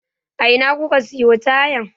A ina kuka siyo tayan?